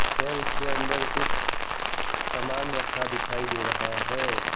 Shelf के अंदर कुछ सामान रखा दिखाई दे रहा है।